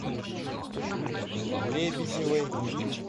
лебедевой